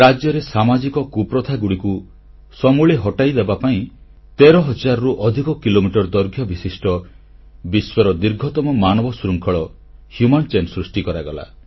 ରାଜ୍ୟରେ ସାମାଜିକ କୁପ୍ରଥାଗୁଡ଼ିକୁ ସମୂଳେ ହଟାଇଦେବା ପାଇଁ 13 ହଜାରରୁ ଅଧିକ କିଲୋମିଟର ଦୈର୍ଘ୍ୟବିଶିଷ୍ଟ ବିଶ୍ୱର ଦୀର୍ଘତମ ମାନବଶୃଙ୍ଖଳ ହ୍ୟୁମାନ ଚେନ୍ ସୃଷ୍ଟି କରାଗଲା